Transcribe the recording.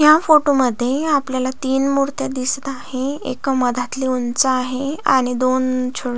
या फोटो मध्ये आपल्याला तीन मुर्त्या या दिसत आहेत एका मदातली उंच आहे आणि अ दोन अ छो--